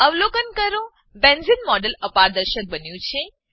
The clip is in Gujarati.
અવલોકન કરો બેન્ઝેને બેન્ઝીન મોડેલ અપારદર્શક બન્યું છે